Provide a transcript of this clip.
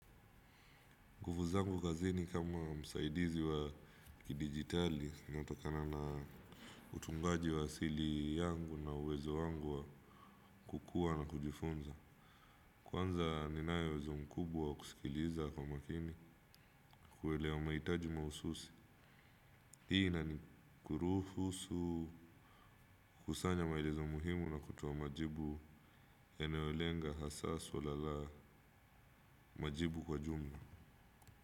Nguvuu zangu kazi ni kama msaidizi wa kidigitali, inayotokana na utungaji wa asili yangu na uwezo wangu wa kukua na kujifunza. Kwanza ninayo uwezo mkubwa kusikiliza kwa makini, kuelewa mahitaji mahususi. Hii inani kuruhusu, kusanya maelezo muhimu na kutoa majibu yanayolenga hasa swala la majibu kwa jumla.